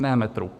Ne metrů.